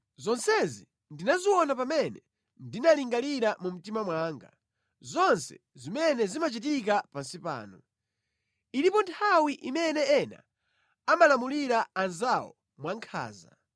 Zonsezi ndinaziona pamene ndinalingalira mu mtima mwanga, zonse zimene zimachitika pansi pano. Ilipo nthawi imene ena amalamulira anzawo mwankhanza.